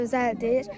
Gözəldir.